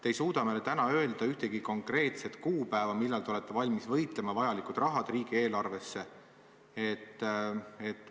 Te ei suuda täna meile öelda ühtegi konkreetset kuupäeva, millal te olete valmis vajaliku raha riigieelarvesse välja võitlema.